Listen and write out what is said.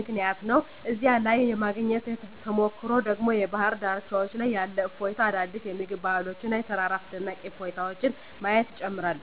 ምክንያት ነው። እዚያ ላይ የማግኘት ተሞክሮ ደግሞ በባህር ዳርቻዎች ላይ ያለ እፎይታ፣ አዳዲስ የምግብ ባህሎች እና የተራራ አስደናቂ እይታዎችን ማየት ይጨምራል።